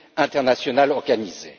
internationale organisée.